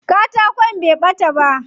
Katakon bai ɓata ba.